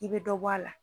I bɛ dɔ bɔ a la